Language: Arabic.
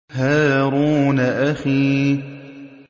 هَارُونَ أَخِي